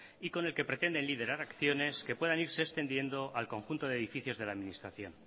y con el que pretenden liderar acciones que puedan irse extendiendo al conjunto de edificios de la administración